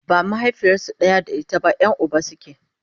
ba mahaifiyarsu ɗaya da ita ba Yan Uba suke